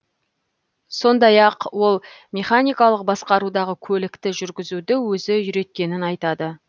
сондай ақ ол механикалық басқарудағы көлікті жүргізуді өзі үйреткенін айтады